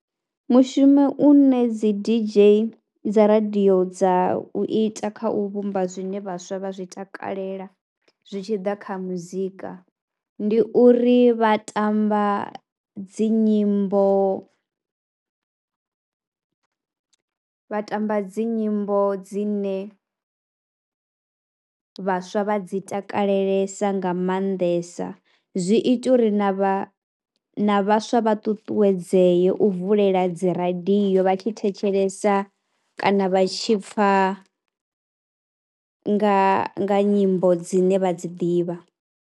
Mushumo une dzi D_J dza radio dza u ita kha u vhumba zwine vhaswa vha zwi takalela, zwi tshi ḓa kha muzika, ndi uri vha tamba dzi nyimbo, vha tamba dzi nyimbo dzine vhaswa vha dzi takalesa nga maanḓesa. Zwi ita uri na vha vhaswa vha ṱuṱuwedzee u vulela dzi radio vha tshi thetshelesa kana vha tshi pfha nga nyimbo dzine vha dzi ḓivha.